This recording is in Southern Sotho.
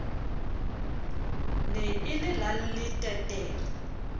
ne e le la leteterre